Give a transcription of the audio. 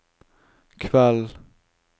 kveld